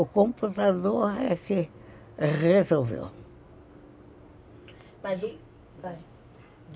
O computador é que resolveu mas e, vai